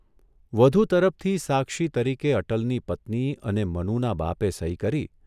વધુ તરફતી સાક્ષી તરીકે અટલની પત્ની અને મનુના બાપે સહી કરી